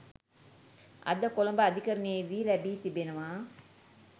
අද කොළඹ අධිකරණයේදී ලැබී තිබෙනවා